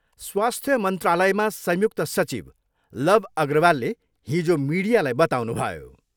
स्वास्थ्य मन्त्रालयमा संयुक्त सचिव लव अग्रवालले हिजो मिडियालाई बताउनुभयो।